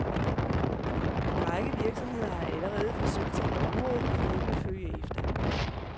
En række virksomheder har allerede forsøgt sig på området, og flere vil følge efter.